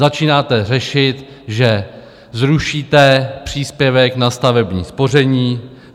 Začínáte řešit, že zrušíte příspěvek na stavební spoření.